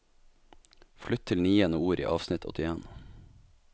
Flytt til niende ord i avsnitt åttien